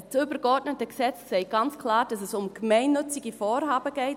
Das übergeordnete Gesetz sagt ganz klar, dass es um gemeinnützige Vorhaben geht.